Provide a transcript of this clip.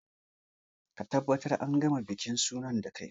Ka tabbata an gama bikin sunan da kai!